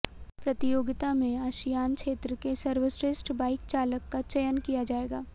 प्रतियोगिता में आसियान क्षेत्र के सर्वश्रेष्ठ बाइक चालक का चयन किया जाएगा